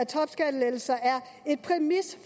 topskattelettelser